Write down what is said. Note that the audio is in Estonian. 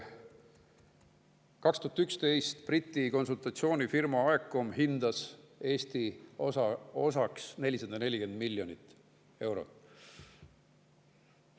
2011 hindas Briti konsultatsioonifirma AECOM Eesti osaks 440 miljonit eurot.